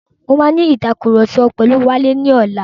Mo máa ní ìtàkurọ̀sọ pẹ̀lu Wálé ní ọlá.